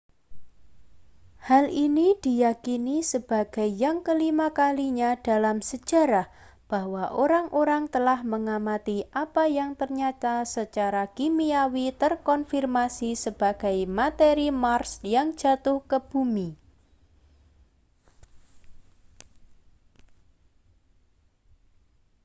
hal ini diyakini sebagai yang kelima kalinya dalam sejarah bahwa orang-orang telah mengamati apa yang ternyata secara kimiawi terkonfirmasi sebagai materi mars yang jatuh ke bumi